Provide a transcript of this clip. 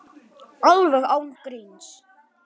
Alveg án gríns.